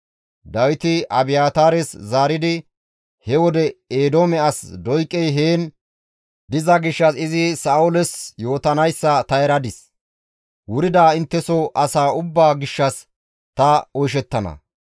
Dawiti Abiyaataares zaaridi, «He wode Eedoome as Doyqey heen diza gishshas izi Sa7ooles yootanayssa ta eradis; wurida intteso asaa ubbaa gishshas ta oyshettana.